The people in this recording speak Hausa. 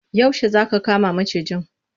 Yaushe za aka kama macijin?